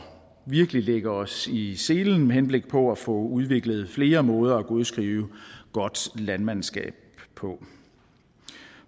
virkelig lægge os i selen med henblik på at få udviklet flere måder at godskrive godt landmandskab på